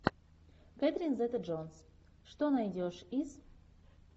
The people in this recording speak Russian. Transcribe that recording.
кетрин зета джонс что найдешь из